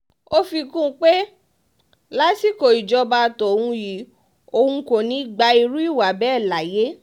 ó fi kún un um pé lásìkò ìṣèjọba tóun yìí òun kò ní í gba irú ìwà um bẹ́ẹ̀ láàyè